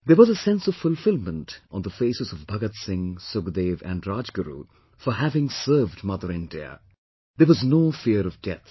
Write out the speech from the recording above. There was a sense of fulfillment on the faces of Bhagat Singh, Sukhdev and Rajguru for having served Mother India there was no fear of death